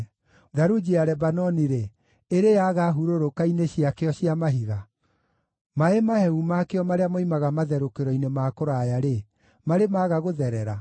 Tharunji ya Lebanoni-rĩ, ĩrĩ yaaga hurũrũka-inĩ ciakĩo cia mahiga? Maaĩ mahehu makĩo marĩa moimaga matherũkĩro-inĩ ma kũraya-rĩ, marĩ maga gũtherera?